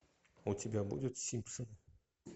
у тебя будет симпсоны